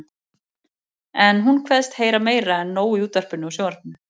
En hún kveðst heyra meira en nóg í útvarpinu og sjónvarpinu.